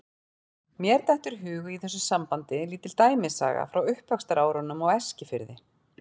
Mér dettur í hug í þessu sambandi lítil dæmisaga frá uppvaxtarárunum á Eskifirði.